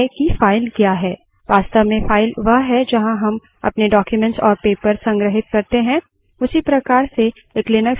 Linux में लगभग सब कुछ एक file है अब सवाल है की file क्या है